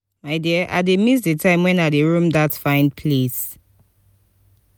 my dear i dey miss the time wen i dey rome dat place fine